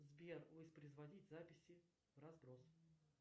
сбер воспроизводить записи в разброс